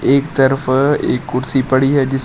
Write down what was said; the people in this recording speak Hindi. एक तरफ एक कुर्सी पड़ी है जिस पे--